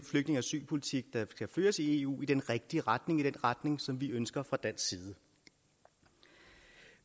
asylpolitik der skal føres i eu i den rigtige retning i den retning som vi ønsker fra dansk side